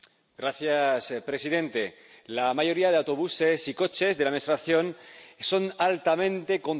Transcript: Señor presidente, la mayoría de autobuses y coches de la administración son altamente contaminantes.